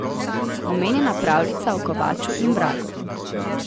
Omenjena pravljica o kovaču in vragu.